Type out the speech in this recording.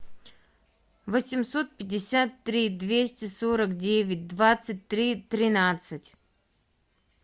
восемьсот пятьдесят три двести сорок девять двадцать три тринадцать